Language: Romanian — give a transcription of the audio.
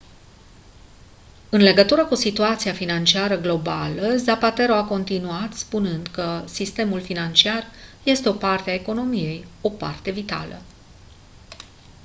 în legătură cu situația financiară globală zapatero a continuat spunând că «sistemul financiar este o parte a economiei o parte vitală.»